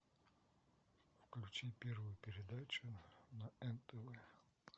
включи первую передачу на нтв